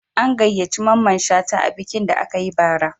An gayyaci Mamman Shata a bikin da aka yi bara